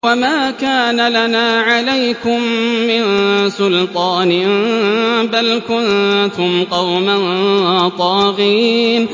وَمَا كَانَ لَنَا عَلَيْكُم مِّن سُلْطَانٍ ۖ بَلْ كُنتُمْ قَوْمًا طَاغِينَ